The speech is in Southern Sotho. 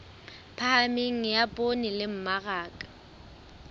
phahameng ya poone le mmaraka